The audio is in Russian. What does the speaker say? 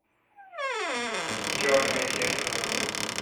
черное зеркало